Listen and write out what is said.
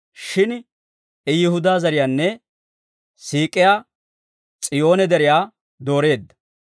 Shin I Yihudaa zariyaanne siik'iyaa S'iyoone deriyaa dooreedda.